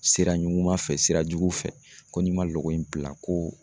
Sira ɲuman fɛ sirajugu fɛ ko n'i ma loko in bila ko